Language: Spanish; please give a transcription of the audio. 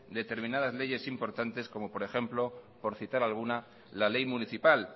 determinadas leyes importantes como por ejemplo por citar alguna la ley municipal